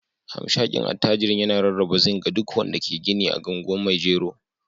hamshakin attajirin yana rarraba zinc ga duk wanda ke gini a anguwan maijero.